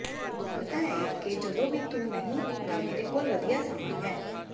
ਤੂੰ ਜਾਣਦਾ ਹੈਂ ਕਿ ਜਦੋਂ ਵੀ ਤੂੰ ਨਹੀਂ ਤਾਂ ਮੇਰੇ ਕੋਲ ਵਧੀਆ ਸਮਾਂ ਹੈ